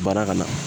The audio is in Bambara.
Baara ka na